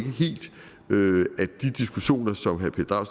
de diskussioner som herre